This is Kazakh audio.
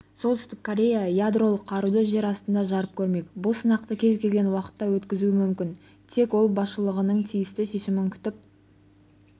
солтүстік корея ядролық қаруды жер астында жарып көрмек бұл сынақты кез келген уақытта өткізуі мүмкін тек ел басшылығының тиісті шешімін күтіп